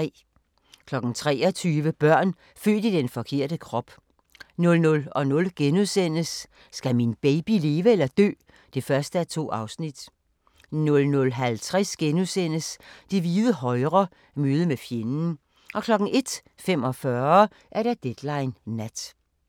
23:00: Børn født i den forkerte krop 00:00: Skal min baby leve eller dø? (1:2)* 00:50: Det hvide højre – møde med fjenden * 01:45: Deadline Nat